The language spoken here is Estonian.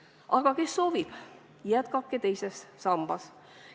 Aga kes soovib, jätkake teises sambas.